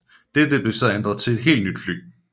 Dette blev så ændret til et helt nyt fly